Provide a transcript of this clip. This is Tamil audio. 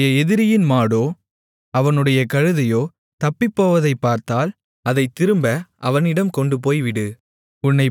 உன்னுடைய எதிரியின் மாடோ அவனுடைய கழுதையோ தப்பிப்போவதைப் பார்த்தால் அதைத் திரும்ப அவனிடம் கொண்டுபோய் விடு